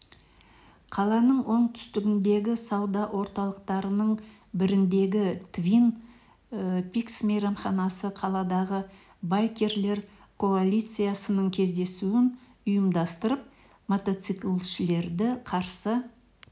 қаланың оңтүстігіндегі сауда орталықтарының біріндегі твин пиксмейрамханасы қаладағы байкерлер коалициясының кездесуін ұйымдастырып мотоциклшілерді қарсы